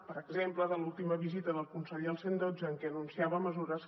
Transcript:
per exemple de l’última visita del conseller al cent i dotze en què anunciava mesures